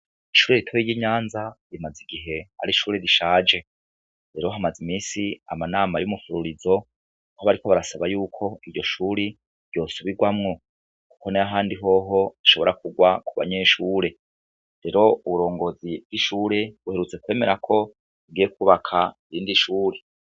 Ishuri ritoyi ry'inyanza rimaze igihe ari ishuri rishaje rero hamaze iminsi ama nana yumuhururizo aho bariko barasaba yuko iryo shuri ryosubirwamwo kuko nayahandi hoho rishobora kurwa ku banyeshuri rero uburongozi bw'ishuri buheruka kwemera ko bugiye kubaka irindi shuri.